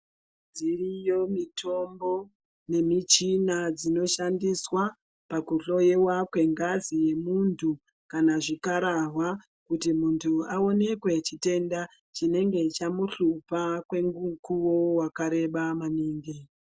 Dziriyo mitombo ne michina dzino shandiswa paku hloyiwa kwe ngazi ye muntu kana zvikarahwa kuti muntu aonekwe chitenda chinenge chamu hlupa kwe mukuwo wakareba maningi.